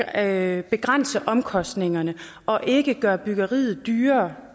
at begrænse omkostningerne og ikke gøre byggeriet dyrere